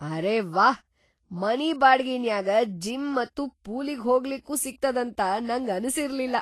ಅರೆ ವಾಹ್, ಮನಿ ಬಾಡ್ಗಿನ್ಯಾಗ ಜಿಮ್‌ ಮತ್ತ ಪೂಲಿಗ್‌ ಹೋಗ್ಲಿಕ್ಕೂ ಸಿಗ್ತದಂತ ನಂಗ ಅನಸಿರ್ಲಿಲ್ಲಾ.